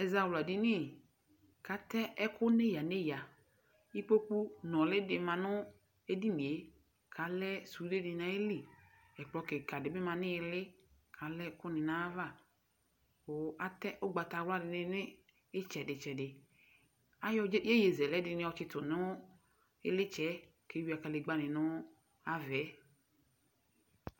ɛzawla dini k'atɛ ɛkò n'eya n'eya ikpoku nuli di ma no edinie k'alɛ sude di n'ayili ɛkplɔ keka di bi ma n'ili k'alɛ ɛkò ni n'ayi ava kò atɛ ugbata wla di ni n'itsɛdi tsɛdi ayɔ yeye zɛlɛ di ni yɔ tsito no ilitsɛ yɛ k'ewia kadegba ni no ava yɛ.